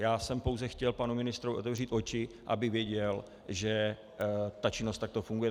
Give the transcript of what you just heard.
Já jsem pouze chtěl panu ministrovi otevřít oči, aby věděl, že ta činnost takto funguje.